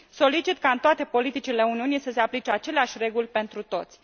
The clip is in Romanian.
Solicit ca în toate politicile Uniunii să se aplice aceleași reguli pentru toți.